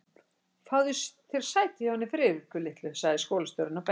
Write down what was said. Fáðu þér sæti hjá henni Friðriku litlu sagði skólastjórinn og benti